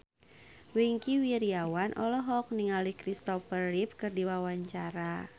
Wingky Wiryawan olohok ningali Kristopher Reeve keur diwawancara